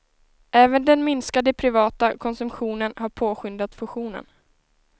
Även den minskade privata konsumtionen har påskyndat fusionen.